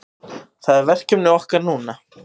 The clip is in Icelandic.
Það er verkefni okkar núna